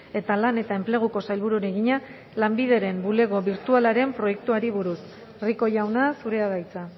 eta lan eta enpleguko sailburuari egina lanbideren bulego birtualaren proiektuari buruz rico jauna zurea da hitza